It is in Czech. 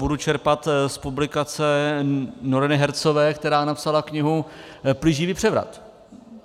Budu čerpat z publikace Noreeny Hertzové, která napsala knihu Plíživý převrat.